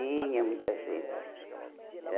Tinha muita gente. Era